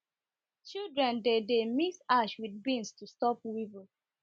children dey dey mix ash with beans to stop weevil